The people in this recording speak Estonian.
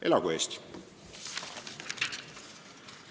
Elagu Eesti!